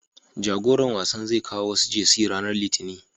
Jagoran wasan zai kawo wasu Jersey ranar Litinin.